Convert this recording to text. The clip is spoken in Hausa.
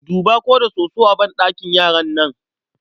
Duba ko da soso a banɗakin yaran nan.